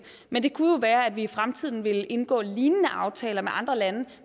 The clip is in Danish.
men det kunne jo være at vi i fremtiden vil indgå lignende aftaler med andre lande